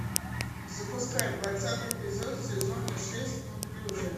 запускай двадцатый эпизод сезона шесть неуклюжая